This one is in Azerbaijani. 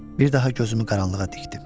Bir daha gözümü qaranlığa dikdim.